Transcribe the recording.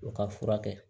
U ka furakɛ